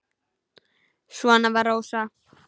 Svona var Rósa.